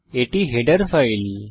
এটি header file